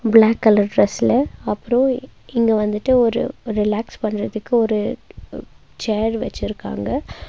Black colour டிரஸ்ல அப்றோ இங்க வந்துட்டு ஒரு ரிலாக்ஸ் பண்றதுக்கு ஒரு சேர் வச்சிருக்காங்க.